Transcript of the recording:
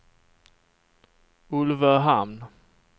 Ulvöhamn